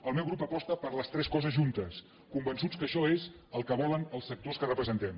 el meu grup aposta per les tres coses juntes convençuts que això és el que volen els sectors que representem